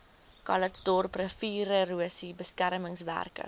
calitzdorp riviererosie beskermingswerke